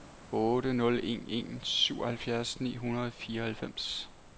otte nul en en syvoghalvfjerds ni hundrede og fireoghalvfems